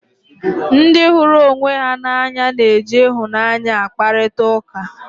Ndị hụrụ onwe ha n'anya na-eji ịhụnanya akparịta ụka